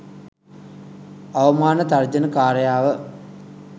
අවමාන තර්ජන කාරයව